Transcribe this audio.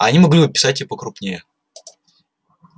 они могли бы писать и покрупнее